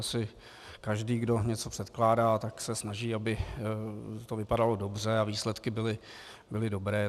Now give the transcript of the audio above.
Asi každý, kdo něco předkládá, tak se snaží, aby to vypadalo dobře a výsledky byly dobré.